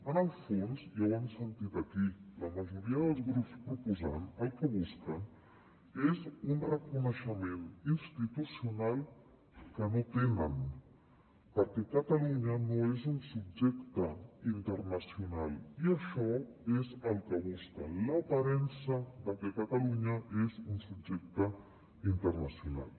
en el fons ja ho hem sentit aquí la majoria dels grups proposants el que busquen és un reconeixement institucional que no tenen perquè catalunya no és un subjecte internacional i això és el que busquen l’aparença de que catalunya és un subjecte internacional